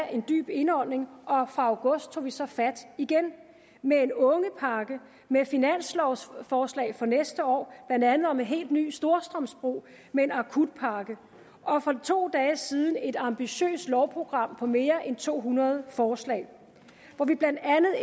en dyb indånding og fra august tog vi så fat igen med en ungepakke med finanslovforslag for næste år blandt andet om en helt ny storstrømsbro med en akutpakke og for to dage siden et ambitiøst lovprogram på mere end to hundrede forslag hvor vi blandt andet